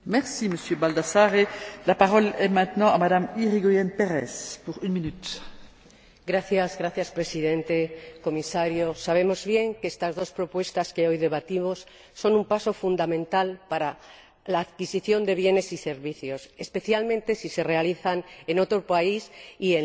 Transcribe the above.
Señora Presidenta, señor Comisario, sabemos bien que estas dos propuestas que hoy debatimos son un paso fundamental para la adquisición de bienes y servicios, especialmente si se realiza en otro país y en línea, y para ampliar la protección y la seguridad de los consumidores.